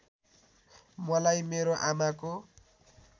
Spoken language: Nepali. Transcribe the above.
मलाई मेरो आमाको